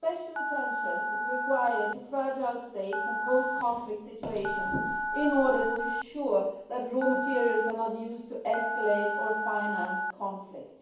Special attention must be paid to fragile states and post conflict situations in order to ensure that raw materials are not used to escalate or finance conflict.